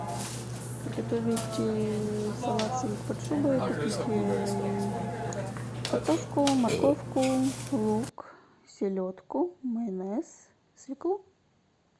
приготовить салат сельдь под шубой купить картошку морковку лук селедку майонез свеклу